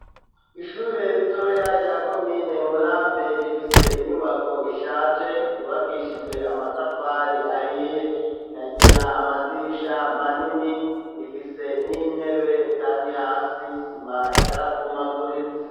Ishure ritoya rya komine Murambi, rifise inyubako ishaje, yubakishijwe amatafari, ahiye; ikagira amadirisha manini; ifise n'intebe, kandi hasi, sima yarabomaguritse.